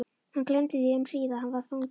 Hann gleymdi því um hríð að hann var fangi.